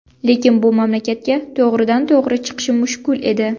Lekin bu mamlakatga to‘g‘ridan to‘g‘ri chiqish mushkul edi.